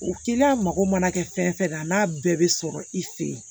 O teliya mago mana kɛ fɛn fɛn n'a bɛɛ bɛ sɔrɔ i fe yen